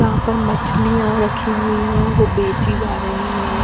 यहाँ पर मछलिया रखी हुई है और बेचीं जा रही है।